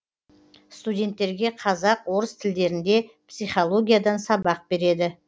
студенттерге қазақ орыс тілдерінде психологиядан сабақ береді